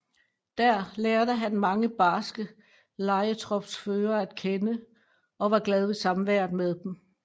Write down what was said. Dér lærte han mange barske lejetropsførere at kende og var glad ved samværet med dem